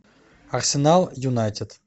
арсенал юнайтед